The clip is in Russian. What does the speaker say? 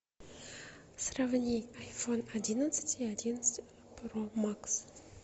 сравни айфон одиннадцать и одиннадцать про макс